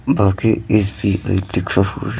बाकी S _B _I लिखा हुआ --